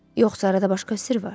Yoxsa arada başqa sirr var?